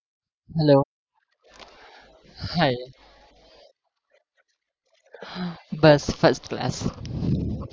hellohii બસ first class